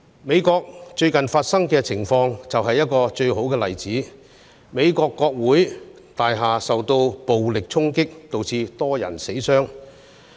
美國最近的情況就是最佳例子：美國國會大樓受到暴力衝擊，導致多人死傷。